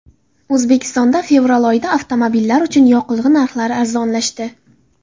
O‘zbekistonda fevral oyida avtomobillar uchun yoqilg‘i narxlari arzonlashdi.